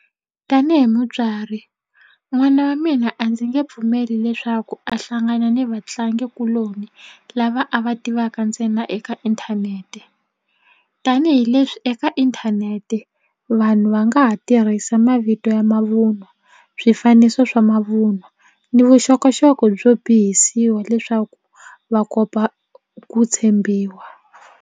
Tanihi mutswari n'wana wa mina a ndzi nge pfumeli leswaku a hlangana ni vatlangikuloni lava a va tivaka ntsena eka inthanete tanihileswi eka inthanete vanhu va nga ha tirhisa mavito ya mavunwa swifaniso swa mavunwa ni vuxokoxoko byo bohisiwa leswaku va kopa ku tshembiwa.